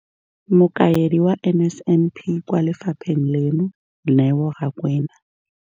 Mokaedi wa NSNP kwa lefapheng leno, Neo Rakwena.